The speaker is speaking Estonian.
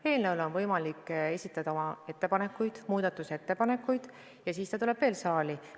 Eelnõu kohta on võimalik esitada muudatusettepanekuid ja siis ta tuleb veel kord saali.